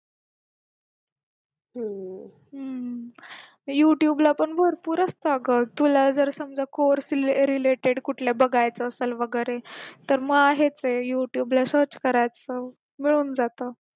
हम्म youtube ला पण भरपूर असतं तुला जर समजा course related कुठल्या बघायचा असेल वगैरे तर मग आहे ते youtube ला search करायचं मग होऊन जात